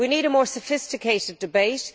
We need a more sophisticated debate.